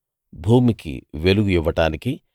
భూమికి వెలుగు ఇవ్వడానికీ